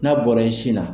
N'a bɔra i sin na